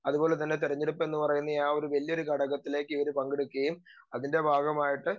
speaker 2 അതുപോലെതന്നെ തെരഞ്ഞെടുപ്പെന്ന് പറയുന്നെ ആ ഒരു വല്യ ഒരു ഘടകത്തിലേക്ക് പങ്കെടുക്കുകയും അതിൻറെ ഭാഗമായിട്ട്